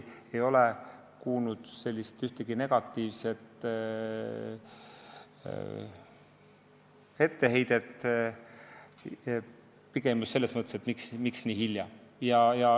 ma ei ole kuulnud ühtegi etteheidet, pigem on küsitud, et miks nii hilja.